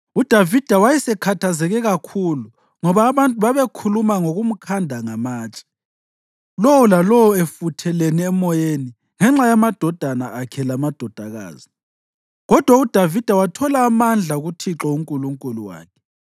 UDavida wayesekhathazeke kakhulu ngoba abantu babekhuluma ngokumkhanda ngamatshe, lowo lalowo efuthelene emoyeni ngenxa yamadodana akhe lamadodakazi. Kodwa uDavida wathola amandla kuThixo uNkulunkulu wakhe.